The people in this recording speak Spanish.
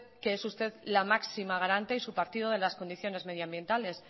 que es usted la máxima garante y su partido de las condiciones medioambientales